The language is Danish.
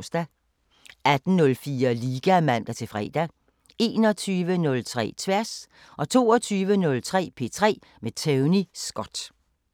18:04: Liga (man-fre) 21:03: Tværs 22:03: P3 med Tony Scott